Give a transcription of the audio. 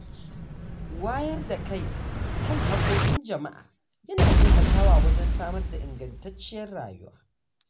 Wayar da kai kan hakkokin jama’a yana taimakawa wajen samar da ingantacciyar rayuwa.